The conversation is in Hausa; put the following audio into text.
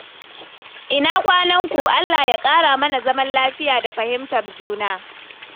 Ina kwananku? Allah ya ƙara mana zaman lafiya da fahimtar juna.